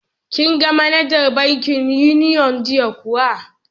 Kin ga manajar bankin Union jiya kuwa?